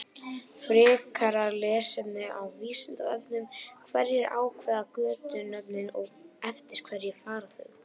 Frekara lesefni á Vísindavefnum: Hverjir ákveða götunöfnin og eftir hverju fara þau?